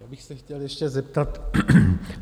Já bych se chtěl ještě zeptat.